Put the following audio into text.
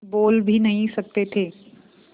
बोल भी नहीं सकते थे